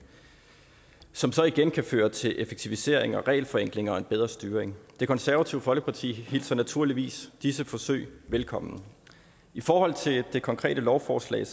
som så igen kan føre til effektivisering og regelforenkling og en bedre styring det konservative folkeparti hilser naturligvis disse forsøg velkommen i forhold til det konkrete lovforslag